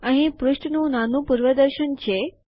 અહીં પૃષ્ઠનું નાનું પૂર્વદર્શન છે